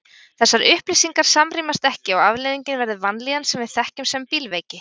Þessar upplýsingar samrýmast ekki og afleiðingin verður vanlíðan sem við þekkjum sem bílveiki.